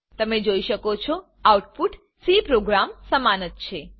તમે જોઈ શકો છો આઉટપુટ સી પ્રોગ્રામ સમાન જ છે